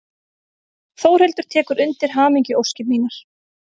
Þórhildur tekur undir hamingjuóskir mínar.